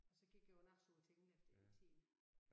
Og så gik jeg på nachschule Tingleff i tiende